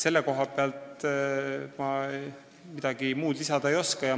Selle koha pealt ma midagi lisada ei oska.